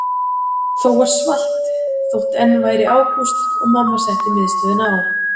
Það var svalt þótt enn væri ágúst og mamma setti miðstöðina á.